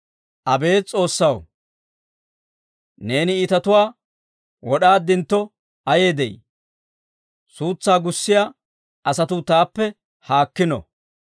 Abeet S'oossaw, neeni iitatuwaa wod'aaddintto ayee de'ii! Suutsaa gussiyaa asatuu taappe haakkino!